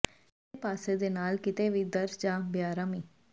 ਸਰੀਰ ਦੇ ਪਾਸੇ ਦੇ ਨਾਲ ਕਿਤੇ ਵੀ ਦਰਦ ਜਾਂ ਬੇਆਰਾਮੀ